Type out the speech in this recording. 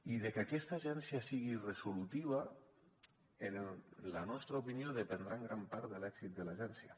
i de que aquesta agència sigui resolutiva en la nostra opinió dependrà en gran part de l’èxit de l’agència